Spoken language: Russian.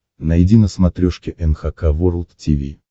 найди на смотрешке эн эйч кей волд ти ви